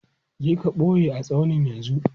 Je ka ɓoye a tsaunin yanzu!